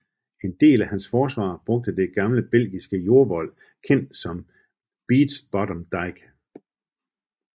En del af hans forsvar brugte det gamle belgiske jordvold kendt som Beech Bottom Dyke